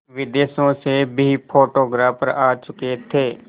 विदेशों से भी फोटोग्राफर आ चुके थे